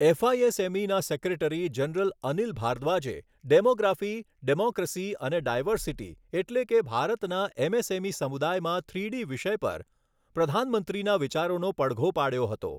એફઆઈએસએમઈના secretary general Anil ભારદ્વાજે demography, democracy અને diversity એટલે કે ભારતના એમએસએમઇ સમુદાયમાં થ્રીડી વિષય પર પ્રધાનમંત્રીના વિચારોનો પડઘો પાડ્યો હતો.